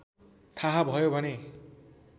थाहा भयो भने